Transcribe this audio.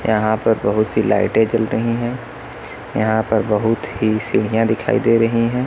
यहां पर बहुत ही लाइटें जल रही हैं यहां पर बहुत ही सीढ़ियां दिखाई दे रही हैं।